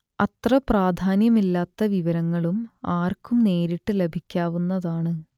അത്ര പ്രാധാന്യമില്ലാത്ത വിവരങ്ങളും ആർക്കും നേരിട്ട് ലഭിക്കാവുന്നതാണ്